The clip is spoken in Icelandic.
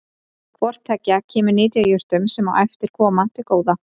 Hvort tveggja kemur nytjajurtum, sem á eftir koma, til góða.